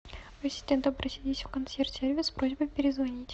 ассистент обратись в консьерж сервис с просьбой перезвонить